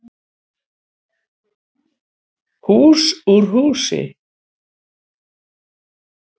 Hús úr húsi